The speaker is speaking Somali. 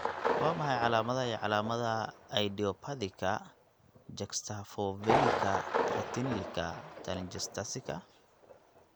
Waa maxay calaamadaha iyo calaamadaha idiopathika juxtafovelika retinalika telangiectasiska?